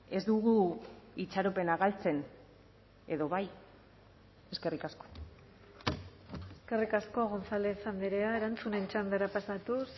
ez dugu itxaropena galtzen edo bai eskerrik asko eskerrik asko gonzález andrea erantzunen txandara pasatuz